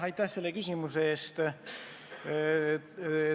Aitäh selle küsimuse eest!